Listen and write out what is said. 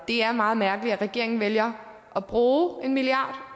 det er meget mærkeligt at regeringen vælger at bruge en milliard